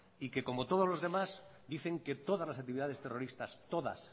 y que como todos los demás dicen que todas las actividades terroristas todas